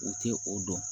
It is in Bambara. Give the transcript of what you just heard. U tɛ o dɔn